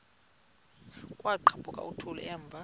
kwaqhaphuk uthuli evuma